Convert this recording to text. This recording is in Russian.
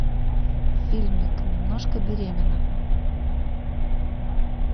фильмик немножко беременна